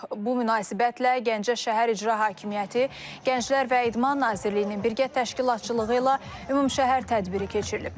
Bu münasibətlə Gəncə şəhər İcra Hakimiyyəti, Gənclər və İdman Nazirliyinin birgə təşkilatçılığı ilə ümumşəhər tədbiri keçirilib.